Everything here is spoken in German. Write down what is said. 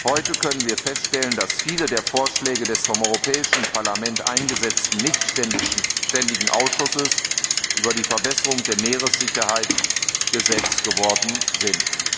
Heute können wir feststellen, dass viele der Vorschläge des vom Europäischen Parlament eingesetzten nichtständigen Ausschusses für die Verbesserung der Sicherheit auf See Gesetz geworden sind.